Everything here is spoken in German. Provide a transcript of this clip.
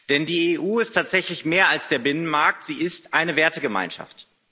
Denn die EU ist tatsächlich mehr als der Binnenmarkt, sie ist eine Wertegemeinschaft.